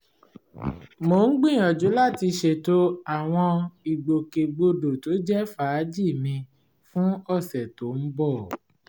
mò ń gbìyànjú láti ṣètò àwọn ìgbòkègbodò tó jẹ́ fàájì mi fún ọ̀sẹ̀ tó ń bọ̀